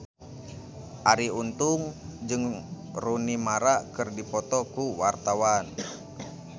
Arie Untung jeung Rooney Mara keur dipoto ku wartawan